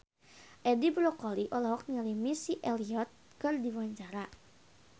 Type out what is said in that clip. Edi Brokoli olohok ningali Missy Elliott keur diwawancara